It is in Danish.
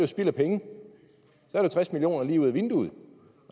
spild af penge så er det tres million kroner lige ud ad vinduet